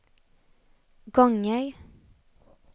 gånger